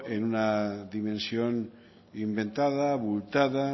en una dimensión inventada abultada